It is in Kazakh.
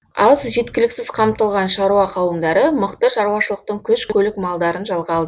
аз жеткіліксіз қамтылған шаруа қауымдары мықты шаруашылықтың күш көлік малдарын жалға алды